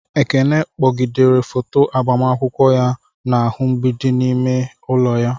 Ekene kpọgidere foto agbamakwụkwọ ya n'ahụ mgbidi n'ime ime ụlọ ya.